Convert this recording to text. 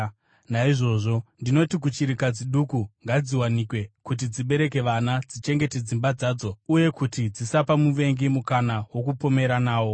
Naizvozvo ndinoti kuchirikadzi duku ngadziwanikwe, kuti dzibereke vana, dzichengete dzimba dzadzo uye kuti dzisapa muvengi mukana wokupomera nawo.